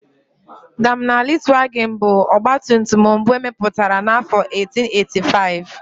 Daimler Reitwagen bụ ọgbatumtum mbụ emepụtara n'afọ 1885.